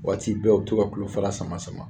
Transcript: Waati bɛɛ u be to ka kulu fara sama sama